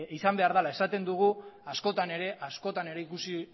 izan behar dela esaten dugu askotan ere ikusi